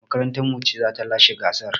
Makarantar mu ce ta lashe gasar.